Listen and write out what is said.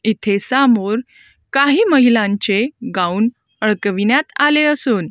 इथे सामोर काही महिलांचे गाऊन अडकविण्यात आले असून--